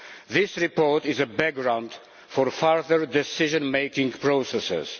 This report is a background for further decision making processes.